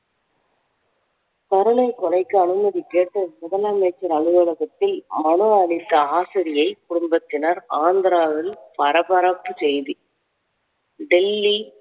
கருணைக் கொலைக்கு அனுமதி கேட்டு முதலமைச்சர் அலுவலகத்தில் மனு அளித்த ஆசிரியை குடும்பத்தினர் ஆந்திராவில் பரபரப்பு செய்தி. டெல்லி